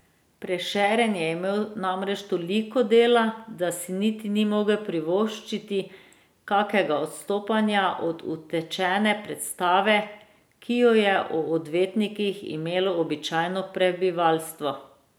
Prešeren je imel namreč toliko dela , da si niti ni mogel privoščiti kakega odstopanja od utečene predstave, ki jo je o odvetnikih imelo običajno prebivalstvo.